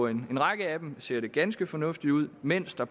en række af dem ser det ganske fornuftigt ud mens der